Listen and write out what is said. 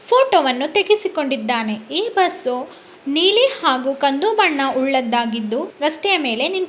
ಫೋಟೋವನ್ನು ತೆಗೆಸಿಕೊಂಡಿದ್ದಾನೆ ಈ ಬಸ್ಸು ನೀಲಿ ಮತ್ತು ಕಂದು ಬಣ್ಣದ್ದಾಗಿದ್ದು ರಸ್ತೆ ಮೇಲೆ--